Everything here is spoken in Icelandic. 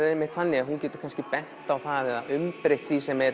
einmitt þannig að hún getur kannski bent á það eða umbreytt því sem er